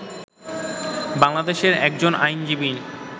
বাংলাদেশের একজন আইনজীবী